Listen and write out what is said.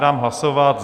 Dám hlasovat.